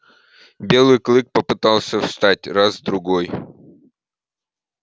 белый клык попытался встать раз другой